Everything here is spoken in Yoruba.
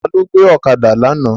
Ta ló gbé ọ̀kadà lánàá?